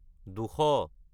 দুশ